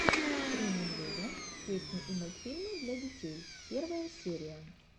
три медведя песни и мультфильмы для детей первая серия